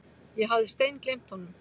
Ég hafði steingleymt honum.